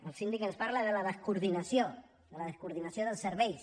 el síndic ens parla de la descoordinació de la descoordinació dels serveis